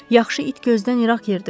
Yaxşı it gözdən İraq yerdə ölər.